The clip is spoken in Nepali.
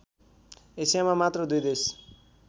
एसियामा मात्र दुई देश